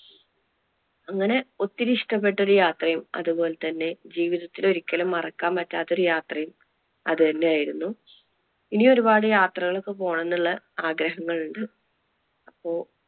അങ്ങനെ ഒത്തിരി ഇഷ്ടപെട്ട ഒരു യാത്രയും അതുപോലെതന്നെ ജീവിതത്തിൽ ഒരിക്കലും മറക്കാൻ പറ്റാത്ത ഒരു യാത്രയും അതുതന്നെ ആയിരുന്നു. ഇനി ഒരുപാട് യാത്രകൾ ഒക്കെ പോകണം എന്നുള്ള ആഗ്രഹങ്ങൾ ഉണ്ട്. അപ്പൊ